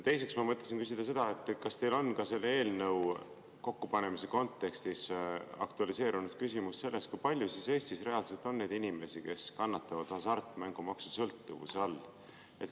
Teiseks ma mõtlesin küsida seda, kas teil on ka selle eelnõu kokkupanemise kontekstis aktualiseerunud küsimus sellest, kui palju Eestis reaalselt on neid inimesi, kes kannatavad hasartmängusõltuvuse all.